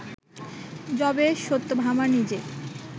যবে সত্যভামা নিজে